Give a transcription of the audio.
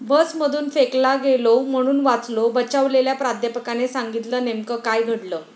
बसमधून फेकला गेलो म्हणून वाचलो, बचावलेल्या प्राध्यापकाने सांगितलं नेमकं काय घडलं?